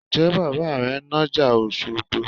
Ǹjẹ́ bàbà rẹ ń nájà Òṣogbo?